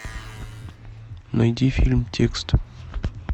найди фильм текст